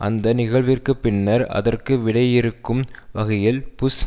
அந்த நிகழ்விற்குப் பின்னர் அதற்கு விடையிறுக்கும் வகையில் புஷ்